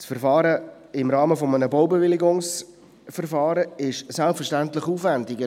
Das Verfahren im Rahmen eines Baubewilligungsverfahrens ist selbstverständlich aufwendiger;